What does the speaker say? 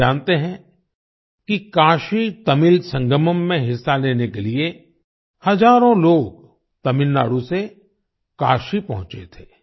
आप जानते हैं कि काशीतमिल संगमम में हिस्सा लेने के लिए हजारों लोग तमिलनाडु से काशी पहुंचे थे